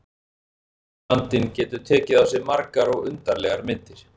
Vinnuandinn getur tekið á sig margar og undarlegar myndir.